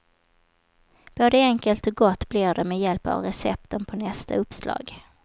Både enkelt och gott blir det med hjälp av recepten på nästa uppslag.